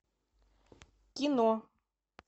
кино